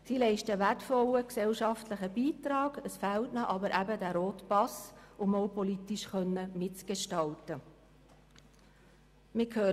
Sie leisten einen wertvollen gesellschaftlichen Beitrag aber es fehlt ihnen eben dieser rote Pass, um auch politisch mitgestalten zu können.